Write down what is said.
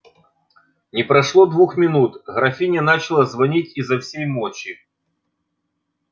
не прошло двух минут графиня начала звонить изо всей мочи